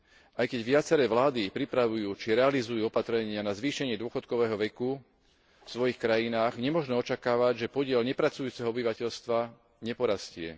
Aj keď viaceré vlády pripravujú či realizujú opatrenia na zvýšenie dôchodkového veku vo svojich krajinách, nemožno očakávať, že podiel nepracujúceho obyvateľstva neporastie.